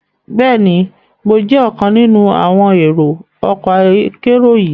Bẹẹni, Mo jẹ ọkan ninu àwọn èrò ọkọ akero yii